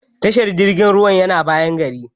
Tashar jirgin ruwan yana bayan gari.